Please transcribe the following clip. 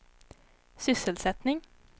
sysselsättning